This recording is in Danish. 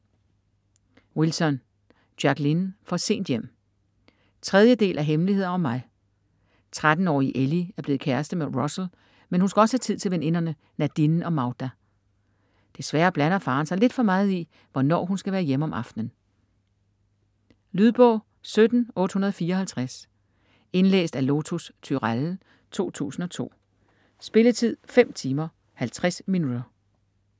Wilson, Jacqueline: For sent hjem 3. del af Hemmeligheder om mig. 13-årige Ellie er blevet kæreste med Russel, men hun skal også have tid til veninderne Nadine og Magda. Desværre blander faderen sig lidt for meget i, hvornår hun skal være hjemme om aftenen. Lydbog 17854 Indlæst af Lotus Turéll, 2002. Spilletid: 5 timer, 50 minutter.